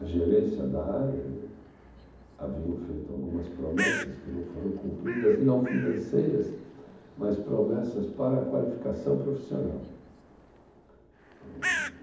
a gerência da área né, haviam feito algumas promessas que não foram cumpridas, não financeiras, mas promessas para a qualificação profissional.